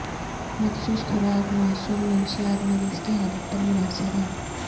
مخصوص خوراک موصول منشیات مریض کی حالت پر منحصر ہے